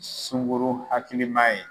Sunguru hakiliman ye.